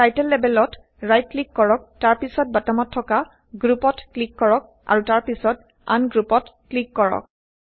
title লেবেলত right click কৰক তাৰ পাছত বটমত থকা Groupত ক্লিক কৰক আৰু তাৰ পিছত Ungroupত ক্লিক কৰক